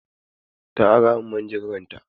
Ta ara min manjagarar ta.